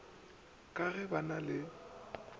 ke ge ba na le